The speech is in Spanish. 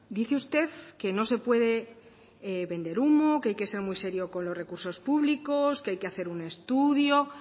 dice usted que no se puede vender humo que hay que ser muy serio con los recursos públicos que hay que hacer un estudio